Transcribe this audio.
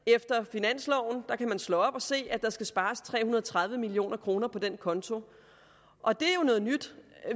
finansloven kan man slå op og se at der skal spares tre hundrede og tredive million kroner på den konto og det er jo noget nyt